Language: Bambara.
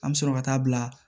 An bɛ sɔrɔ ka taa bila